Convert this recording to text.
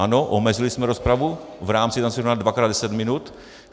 Ano, omezili jsme rozpravu v rámci jednacího řádu na dvakrát deset minut.